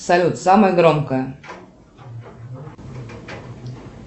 салют самая громкая